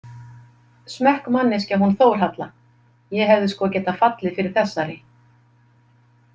Smekkmanneskja hún Þórhalla, ég hefði sko getað fallið fyrir þessari.